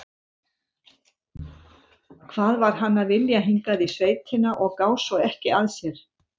Hvað var hann að vilja hingað í sveitina og gá svo ekki að sér?